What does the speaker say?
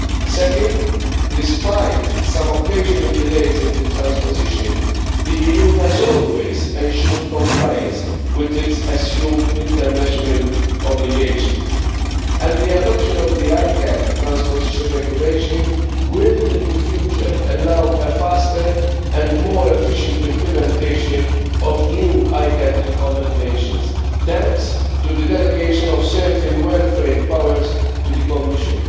Second, despite some occasional delays in transposition, the EU has always ensured compliance with the international obligations it assumes, and the adoption of the ICCAT transposition regulation will, in the future, permit faster and more efficient implementation of new ICCAT recommendations, thanks to the delegation of certain well framed powers to the Commission.